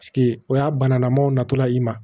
o y'a banalamaw natɔla i ma